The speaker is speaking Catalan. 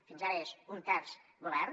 fins ara és un terç del govern